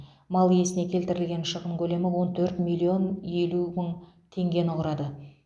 мал иесіне келтірілген шығын көлемі он төрт миллион елу мың теңгені құрады